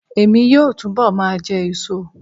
Emi yoo túbọ̀ ma jẹ èso